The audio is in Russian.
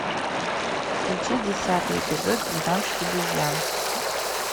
включи десятый эпизод двенадцать обезьян